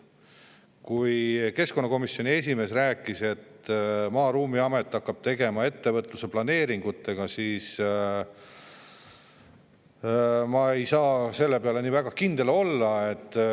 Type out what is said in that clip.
Kui keskkonnakomisjoni esimees rääkis, et Maa- ja Ruumiamet hakkab tegelema ettevõtluse planeeringutega, siis ma ei saa selle peale nii väga kindel olla.